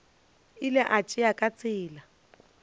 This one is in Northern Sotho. ile a tšea ka tsebe